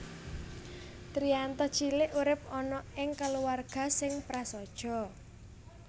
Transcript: Triyanto cilik urip ana ing kulawarga sing prasaja